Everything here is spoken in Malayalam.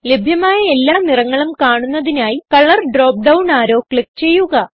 ലഭ്യമായ എല്ലാ നിറങ്ങളും കാണുന്നതിനായി colour drop down arrow click ചെയ്യുക